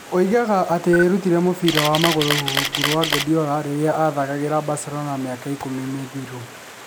Aroiga atĩ eerutire mũbira wa magũrũ rungu rwa Guardiola rĩrĩa athakagĩra Barcelona mĩaka ikũmi mĩthiru.